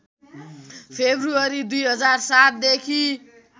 February २००७ देखि